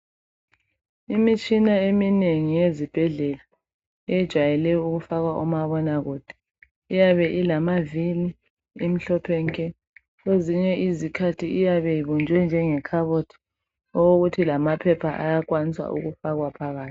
Imitshina eminengi yezibhedlela ejwayele ukufaka umabona kude iyabe ilamaviri imhlophe nke kwezinye izikhathi iyabe ibunjwe njenge khabothi okuthi lamaphepha ayakwanisa ukufakwa phakathi.